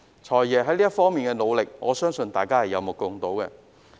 "財爺"在這方面的努力，我相信大家都有目共睹。